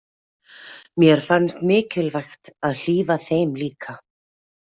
Mér fannst mikilvægt að hlífa þeim líka.